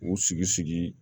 K'u sigi sigi